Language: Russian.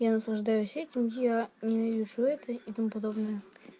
я наслаждаюсь этим я ненавижу это и тому подобное